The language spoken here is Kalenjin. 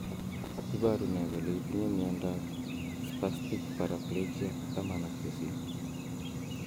Iporu ne kole itinye miondap Spastic paraplegia 18?